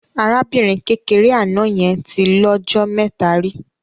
Arábìnrin kékeré àná yẹn tí lọ́jọ mẹ́ta rí.